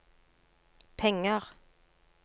penger